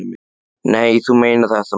Nei, þú meinar þetta nú ekki.